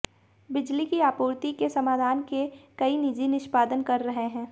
बिजली की आपूर्ति के समाधान के कई निजी निष्पादन कर रहे हैं